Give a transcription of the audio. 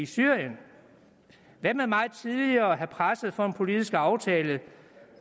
syrien hvad med meget tidligere at presse på for en politisk aftale